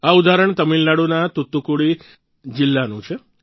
આ ઉદાહરણ તમિલનાડુના તૂતુકુડી જિલ્લાનું છે